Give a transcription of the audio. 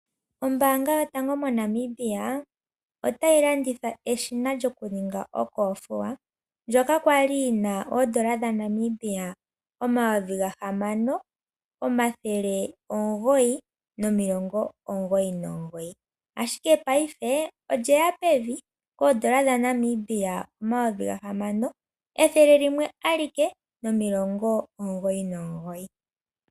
Ombanga yotango moNamibia otayi landitha eshina lyokuninga okothiwa ndyoka kwali lyina N$6999 ashike paife olye ya pevi N$6199.